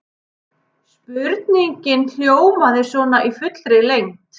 Spurningin hljómaði svona í fullri lengd: